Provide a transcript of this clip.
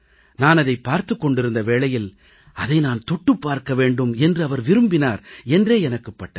நான் அதைப் பார்த்துக் கொண்டிருந்த வேளையில் அதை நான் தொட்டுப் பார்க்க வேண்டும் என்று அவர் விரும்பினார் என்றே எனக்குப் பட்டது